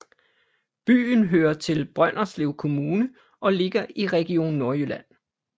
Byen hører til Brønderslev Kommune og ligger i Region Nordjylland